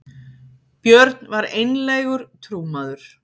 björn var einlægur trúmaður